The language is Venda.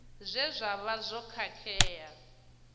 zwe zwa vha zwo khakhea